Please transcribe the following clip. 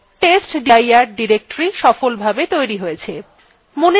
testdir directory সফলভাবে তৈরী হয়েছে